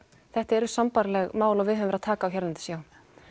þetta eru sambærileg mál og við höfum verið að taka á hérlendis já